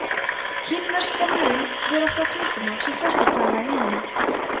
kínverska mun vera það tungumál sem flestir tala í heiminum